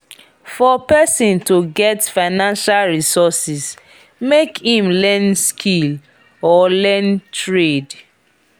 for persin to get financial resources make im learn skill or learn trade